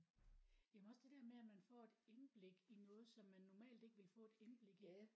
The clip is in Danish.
Jamen også det der med at man får et indblik i noget som man normalt ikke ville få et indblik i